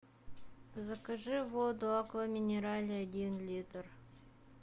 закажи воду акваминерале один литр